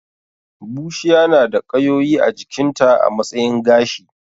Bushiya na da ƙayoyi a jikinta a matsayin gashi